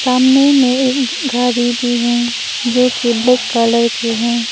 सामने में एक गाड़ी भी है जो की ब्लैक कलर की है।